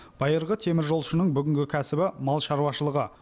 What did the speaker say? байырғы теміржолшының бүгінгі кәсібі мал шаруашылығы